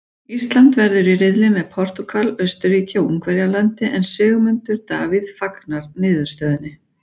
Ísland verður í riðli með Portúgal, Austurríki og Ungverjalandi en Sigmundur Davíð fagnar niðurstöðunni.